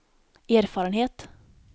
erfarenhet